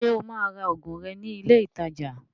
Ṣé o máa ra òògùn rẹ̀ ní ilé ìtajà?